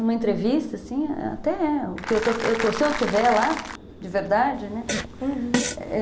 Numa entrevista, assim, até é. Se eu estiver lá, de verdade, né? Uhum.